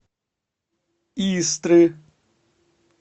истры